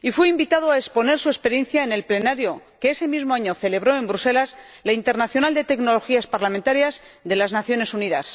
y fue invitado a exponer su experiencia en la Conferencia Mundial e Parlamento que ese mismo año celebró en Bruselas la internacional de tecnologías parlamentarias de las Naciones Unidas.